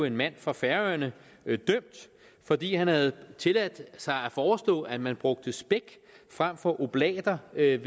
en mand fra færøerne dømt fordi han havde tilladt sig at foreslå at man brugte spæk frem for oblater ved